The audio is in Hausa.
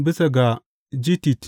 Bisa ga gittit.